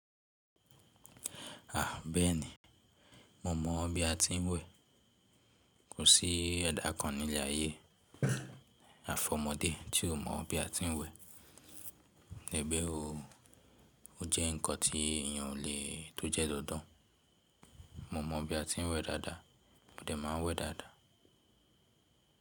A! Bẹ́ẹ̀ni, mo mọ̀ bí a ti ń wẹ̀. Kò sí ẹ̀dá kan ní ilé ààyè àfi ọmọdé tí ò mọ̀ bí a tin wẹ̀ ẹ bẹ́ẹ̀ oo. Ó jẹ́ nǹkan tí èyàn ò le tó jẹ́ dandan. Mo mọ̀ bí a ti ń wẹ̀ dáadáa, mọdẹ má a ń wẹ̀ dáadáa.